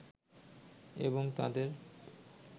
এবং তাদের